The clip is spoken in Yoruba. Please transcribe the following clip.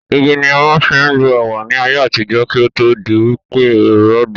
Igi ni a máa ń fi ń lu ẹ̀wà ní ayé àtijọ́, kí ó tó di wí pé ẹ̀rọ dé